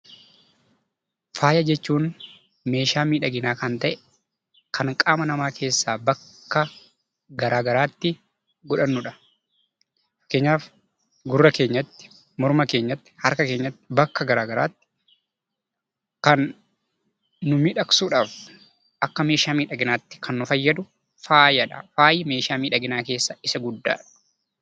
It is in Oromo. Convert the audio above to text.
Faaya jechuun meeshaa miidhaginaa kan ta'e kan qaama namaa keessaa bakka garaa garaatti godhannudha. Fakkeenyaaf gurra keenyatti, harka keenyatti, morma keenyatti, bakka garaa garaatti kan nu miidhagsuudhaaf akka meeshaa miidhaginaatti kan nu fayyadu faaya jedhama.